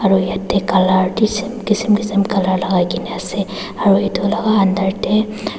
aru yate colour kisem kisem colour lagai kina ase aru etu laga under te--